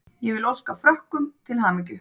Ég vil óska Frökkum til hamingju.